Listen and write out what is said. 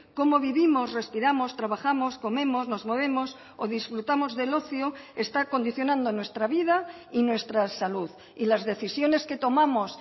cómo vivimos respiramos trabajamos comemos nos movemos o disfrutamos del ocio está condicionando nuestra vida y nuestra salud y las decisiones que tomamos